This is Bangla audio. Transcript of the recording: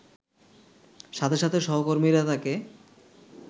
সাথে সাথে সহকর্মীরা তাকে